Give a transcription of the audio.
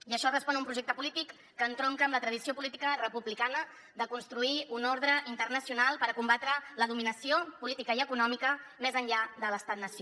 i això respon a un projecte polític que entronca amb la tradició política republicana de construir un ordre internacional per combatre la dominació política i econòmica més enllà de l’estat nació